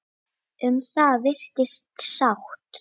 Um það virðist sátt.